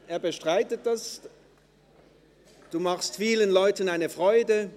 Er macht vielen Leuten eine Freude.